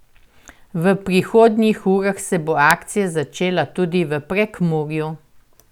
V prihodnjih urah se bo akcija začela tudi v Prekmurju!